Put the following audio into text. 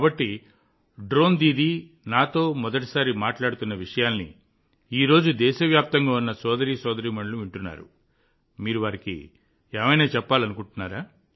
కాబట్టి డ్రోన్ దీదీ నాతో మొదటిసారి మాట్లాడుతున్న విషయాలను ఈ రోజు దేశవ్యాప్తంగా ఉన్న సోదరీమణులు వింటూ ఉంటే మీరు వారికి ఏమి చెప్పాలనుకుంటున్నారు